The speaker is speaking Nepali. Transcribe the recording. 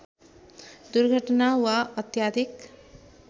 दुर्घटना वा अत्याधिक